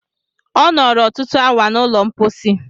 Ọ nọrọ ọtụtụ awa n'ụlọ mposi.